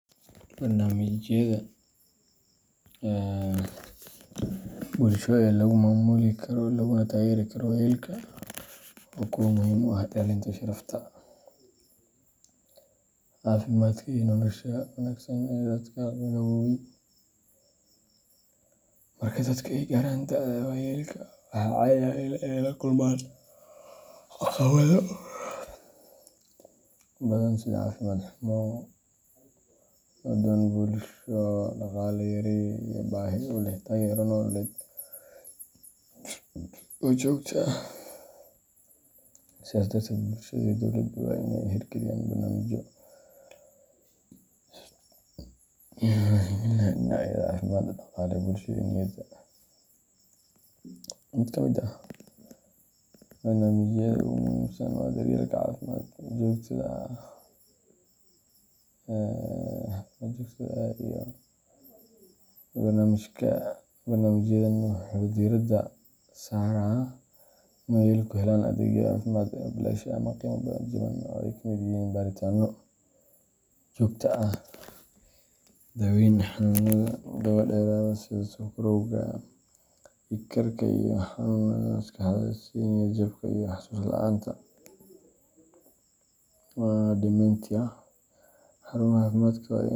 Barnaamijyada bulsho ee lagu maamuli karo laguna taageeri karo waayeelka waa kuwo muhiim u ah ilaalinta sharafta, caafimaadka, iyo nolosha wanaagsan ee dadka gaboobay. Marka dadku ay gaaraan da’da waayeelka, waxaa caadi ah in ay la kulmaan caqabado badan sida caafimaad xumo, go’doon bulsho, dhaqaale yari, iyo baahi u leh taageero nololeed oo joogto ah. Sidaas darteed, bulshada iyo dowladuhu waa inay hirgeliyaan barnaamijyo si gaar ah u wajahaya baahiyaha waayeelka, iyadoo la tixgelinayo dhinacyada caafimaadka, dhaqaale, bulsho, iyo niyadda. Mid ka mid ah barnaamijyada ugu muhiimsan waa daryeelka caafimaadka joogtada ah ee waayeelka. Barnaamijkan wuxuu diiradda saarayaa in waayeelku helaan adeegyo caafimaad oo bilaash ah ama qiimo jaban, oo ay ka mid yihiin baaritaanno joogto ah, daaweyn xanuunnada daba-dheeraada sida sonkorowga, dhiig karka, iyo xanuunnada maskaxda sida niyad-jabka iyo xusuus-la’aanta dementia. Xarumaha caafimaadka waa in laga .